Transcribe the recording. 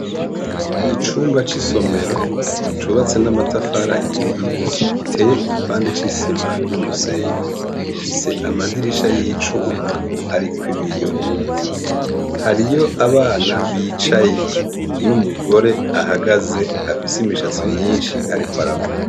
Icumba c'isomero cubatse n'amatafari ahiye giteye igipande c'isima n'umusenyi gifise amadirisha y'icuma arikwibiyo hariy'abana bicaye n'umugore ahagaze afise imishatsi myishi arikwaravuga.